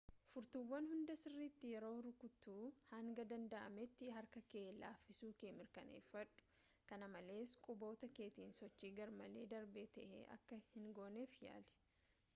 furtuuwwan hunda sirriitti yeroo rukuttu hanga danda'ametti harka kee laaffisuu kee mirkaneeffadhu-kana malees quboota keetiin sochii garmalee darbaa ta'e akka hingooneef yaali